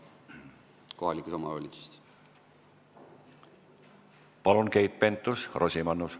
Palun, Keit Pentus-Rosimannus!